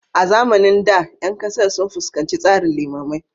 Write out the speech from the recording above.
A zamanin da, ƴan ƙasar sun fuskanci tsarin limamai